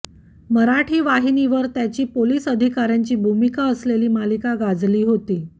मराठी वाहिनीवर त्याची पोलिस अधिकाऱ्यांची भूमिका असलेली मालिका गाजली होती